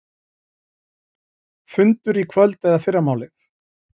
Fundur í kvöld eða fyrramálið